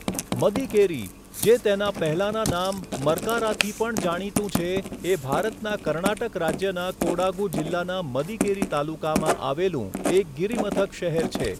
મદિકેરી, જે તેના પહેલાના નામ મર્કારાથી પણ જાણીતું છે, એ ભારતના કર્ણાટક રાજ્યના કોડાગુ જિલ્લાના મદિકેરી તાલુકામાં આવેલું એક ગિરિમથક શહેર છે.